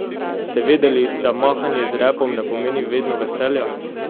Ste vedeli, da mahanje z repom ne pomeni vedno veselja?